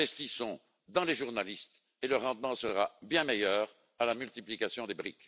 Investissons dans les journalistes et le rendement sera bien meilleur que la multiplication des briques.